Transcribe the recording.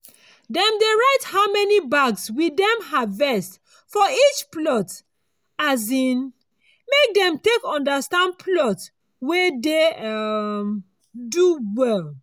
dem dey write how many bags we dem harvest for each plot um make dem take understand plot wey dey um do well.